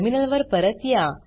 टर्मिनलवर परत या